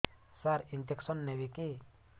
ସାର injection ନେବିକି